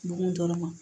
Bon dɔrɔn ma